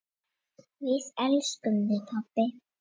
Við elskum þig, pabbi.